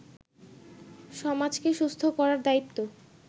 সমাজকে সুস্থ করার দায়িত্ব